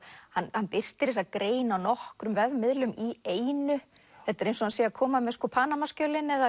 hann birtir þessa grein á nokkrum vefmiðlum í einu þetta er eins og hann sé að koma með Panama skjölin eða